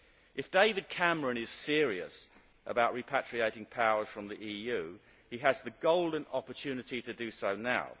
If David Cameron is serious about repatriating power from the EU, he has the golden opportunity to do so now.